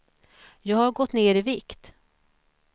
Jag har gått ner i vikt.